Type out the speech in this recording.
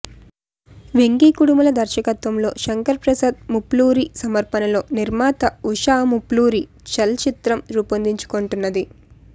వెంకీ కుడుముల దర్శకత్వంలో శంకర ప్రసాద్ ముల్పూరి సమర్పణలో నిర్మాత ఉషా ముల్పూరి చల్ చిత్రం రూపుదిద్దుకొంటున్నది